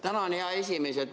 Tänan, hea esimees!